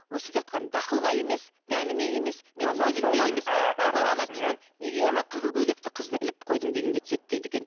өсіп жатқан дақылға емес дәніме емес неге ана қызыл көйлекті қызды іліп қойдың дегенге түседі дейді екен